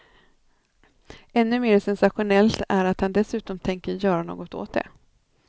Ännu mer sensationellt är att han dessutom tänker göra något åt det.